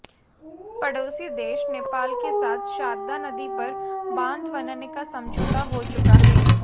पड़ौसी देश नेपाल के साथ शारदा नदी पर बांध बनाने का समझौता हो चुका है